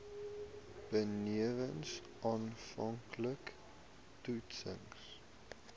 benewens aanvanklike toetsings